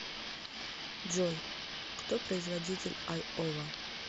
джой кто производитель айова